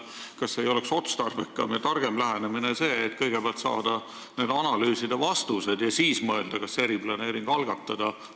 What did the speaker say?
Kas ei oleks otstarbekam ja targem lähenemine selline, et kõigepealt oodata ära analüüside vastused ja siis mõelda, kas üldse eriplaneeringut algatada?